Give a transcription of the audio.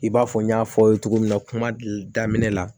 I b'a fɔ n y'a fɔ aw ye cogo min na kuma daminɛ la